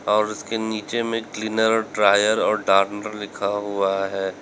और उसके नीचे मे क्लीनर ड्रायर और डानर लिखा हुआ है।